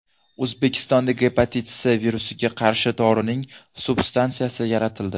O‘zbekistonda gepatit C virusiga qarshi dorining substansiyasi yaratildi.